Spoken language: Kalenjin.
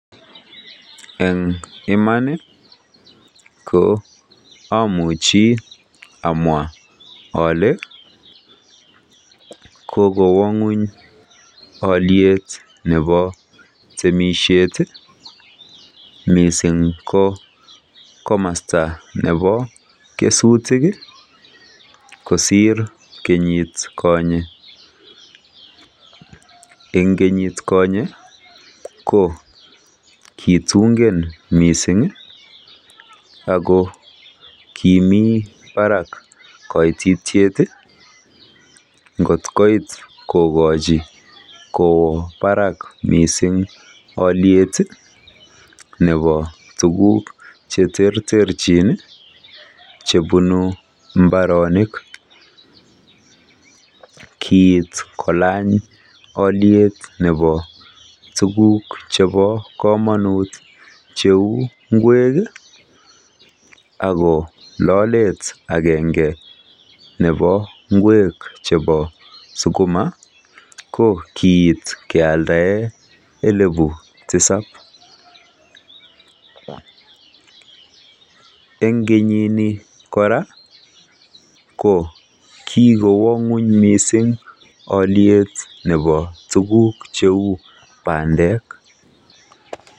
Eng iman ko amuchi amwa ale kokowa ng'weny oliet nebo temishet mising ko komosta nebo kesutik kosir kenyit konye. Eng kenyit konye ko kitungen mising ako kimi barak koititiet kot koit kokochi kowo barak mising oliet nebo tukuk che terterchi chebunu mbarenik. Kiit koaony oliet nebo tukuk chebo komonut cheu ngwek. Ako lolet agenge nebo sukuma ko kiit keale elipu tisap. Eng kinyini kora ko kiwo ng'weny mising oliet nebo tukuk cheu bandek.